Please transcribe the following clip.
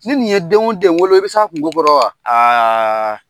Ni nin ye den den wolo i bɛ se a kungo kɔrɔ wa ?